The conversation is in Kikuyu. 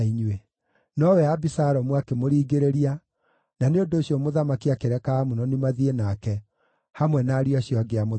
Nowe Abisalomu akĩmũringĩrĩria, na nĩ ũndũ ũcio mũthamaki akĩreka Amunoni mathiĩ nake, hamwe na ariũ acio angĩ a mũthamaki.